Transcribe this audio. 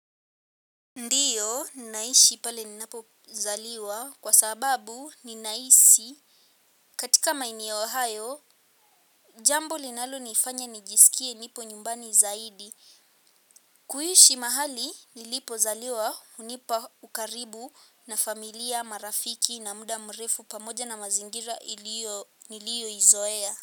Ndiyo naishi pale ninapozaliwa kwa sababu ninahisi katika maeneo hayo jambo linalonifanya nijisikie nipo nyumbani zaidi. Kuishi mahali nilipozaliwa hunipa ukaribu na familia marafiki na muda mrefu pamoja na mazingira niliyoizoea.